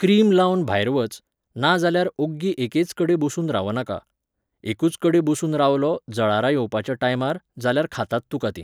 Cream लावन भायर वच, नाजाल्यार ओग्गी एकेच कडेन बसून रावनाका. एकूच कडे बसून रावलो जळारां येवपाच्या टायमार, जाल्यार खातात तुका तीं.